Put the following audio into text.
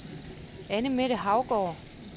Annemette Haugaard